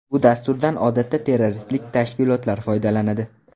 Bu dasturdan odatda terroristik tashkilotlar foydalanadi.